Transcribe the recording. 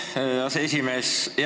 Aitäh, aseesimees!